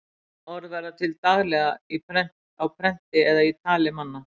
Ný orð verða til daglega á prenti eða í tali manna.